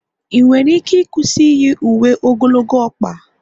ị nwere ike ịkwụsị iyi uwe ogologo ọkpa?